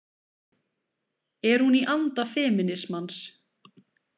Er hún í anda femínismans?